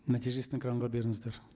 нәтижесін экранға беріңіздер